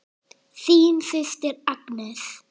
Þín systir Agnes.